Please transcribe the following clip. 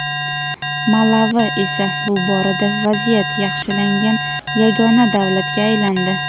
Malavi esa bu borada vaziyat yaxshilangan yagona davlatga aylandi.